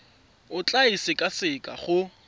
o tla e sekaseka go